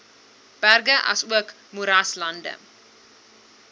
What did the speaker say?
berge asook moeraslande